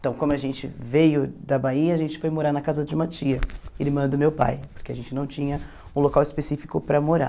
Então, como a gente veio da Bahia, a gente foi morar na casa de uma tia, irmã do meu pai, porque a gente não tinha um local específico para morar.